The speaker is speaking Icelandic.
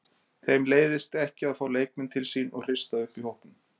Þeim leiðist ekki að fá leikmenn til sín og hrista upp í hópnum.